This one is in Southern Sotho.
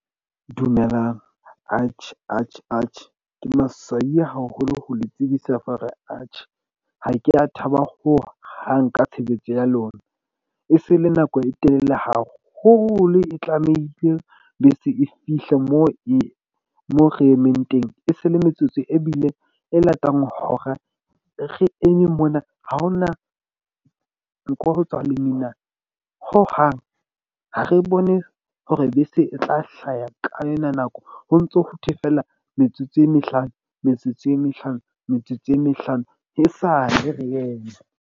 Dumelang ke maswabi haholo ho le tsebisa mara ha ke ya thaba hohang ka tshebetso ya lona. E se le nako e telele haholo, e tlamehile bese e fihle moo e moo re emeng teng. E se le metsotso e bile e latang hora re eme mona ha ona nko ho tswa lemina hohang. Ha re bone hore bese e tla hlaha ka ena nako ho ntso ho thwe fela, metsotso e mehlano, metsotso e mehlano, metsotso e mehlano e sale re eme.